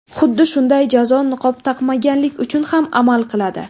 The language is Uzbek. Xuddi shunday jazo niqob taqmaganlik uchun ham amal qiladi.